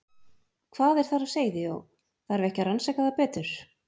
Hvað er þar á seyði og þarf ekki að rannsaka það betur?